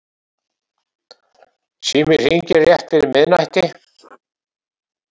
Síminn hringir rétt fyrir miðnætti.